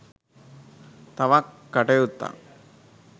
තවත් කටයුත්තක්